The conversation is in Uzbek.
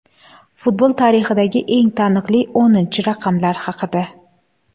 Futbol tarixidagi eng taniqli o‘ninchi raqamlar haqida.